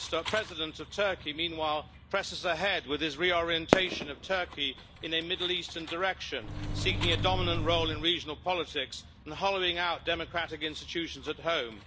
President Erdoğan of Turkey, meanwhile, presses ahead with his reorientation of Turkey in a Middle Eastern direction, seeking a dominant role in regional politics and hollowing out democratic institutions at home.